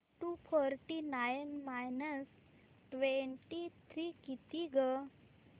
to forty nine minus twenty three किती गं